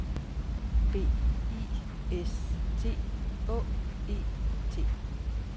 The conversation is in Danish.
B I S T Å E T